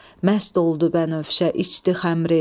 Məst oldu bənövşə içdi xəmrü.